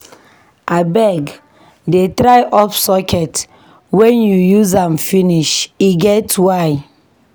Abeg, dey try off socket wen you use am finish, e get why.